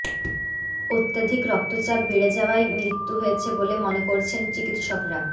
অত্যধিক রক্তচাপ বেড়ে যাওয়ায় মৃত্যু হয়েছে বলে মনে করছেন চিকিৎসকরা